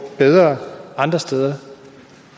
bedre andre steder